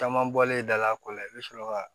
Caman bɔlen dala kɔ la i bɛ sɔrɔ ka